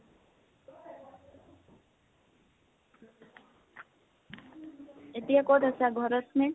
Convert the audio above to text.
এতিয়া কত আছা? ঘৰ ত নে?